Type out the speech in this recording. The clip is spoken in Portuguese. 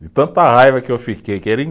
De tanta raiva que eu fiquei.